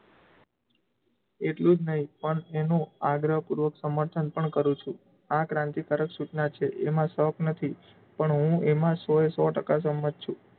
એટલુ જ નહીં પણ એનું આગ્રહપૂર્વક સમર્થન પણ કરું છું. આ ક્રાંતિકારક સૂચનાં છે, એમાં શોખ નથી પણ હું એમાં સૌં એ સૌં ટકા સંમત છું.